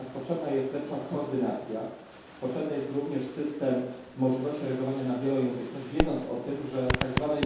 Natomiast potrzebna jest lepsza koordynacja, potrzebny jest również system możliwości reagowania na wielojęzyczność wiedząc o tym, że w tzw.